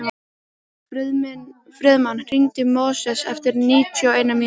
Friðmann, hringdu í Móses eftir níutíu og eina mínútur.